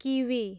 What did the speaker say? kiwi